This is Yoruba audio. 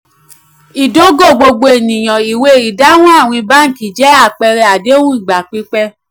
ìdógò gbogbo ènìyàn ìwé àdéhùn àwìn báńkì jẹ àpẹẹrẹ àdéhùn ìgbà pípẹ́.